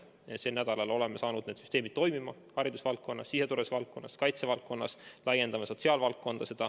Sel nädalal oleme saanud süsteemid toimima haridusvaldkonnas, siseturvalisuse valdkonnas ja kaitsevaldkonnas, laiendame sotsiaalvaldkonda.